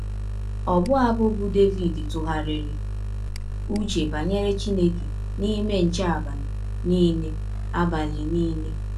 Ọbụ abụ bụ́ Devid ‘ tụgharịrị ụche banyere Chineke n’ime nche abalị nile abalị nile. ’